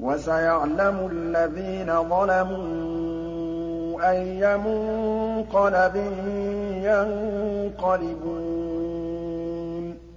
وَسَيَعْلَمُ الَّذِينَ ظَلَمُوا أَيَّ مُنقَلَبٍ يَنقَلِبُونَ